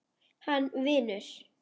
Hann vinur.